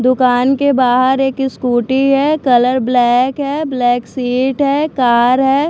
दुकान के बाहर एक स्कूटी है कलर ब्लैक है ब्लैक सीट है कार है।